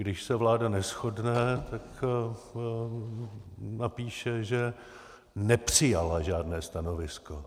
Když se vláda neshodne, tak napíše, že nepřijala žádné stanovisko.